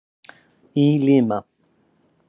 Í Lima